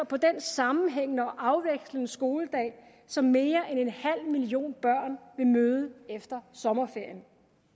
på den sammenhængende og afvekslende skoledag som mere end en halv million børn vil møde efter sommerferien